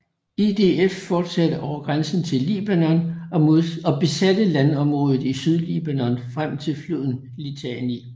IDF fortsatte over grænsen til Libanon og besatte landområdet i Sydlibanon frem til floden Litani